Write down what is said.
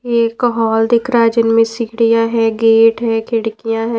ये एक हॉल दिख रहा है जिनमें सीढ़ियां है गेट है खिड़कियां है।